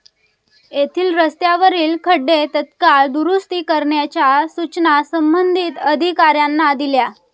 येथील रस्त्यावरील खड्डे तत्काळ दुरूस्ती करण्याच्या सूचना संबंधित अधिकाऱयांना दिल्या.